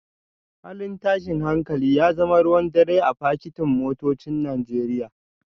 Halin tashin hankali ya zama ruwan dare a fakitin motocin Najeriya